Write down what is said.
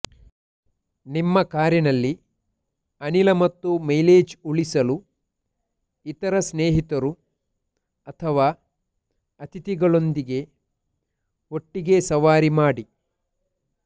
ನಿಮ್ಮ ಕಾರಿನಲ್ಲಿ ಅನಿಲ ಮತ್ತು ಮೈಲೇಜ್ ಉಳಿಸಲು ಇತರ ಸ್ನೇಹಿತರು ಅಥವಾ ಅತಿಥಿಗಳೊಂದಿಗೆ ಒಟ್ಟಿಗೆ ಸವಾರಿ ಮಾಡಿ